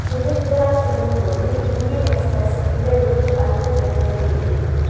குஜராத் செல்லும் போது Indian express இதழுக்கு அளித்த பிரத்யேக பேட்டி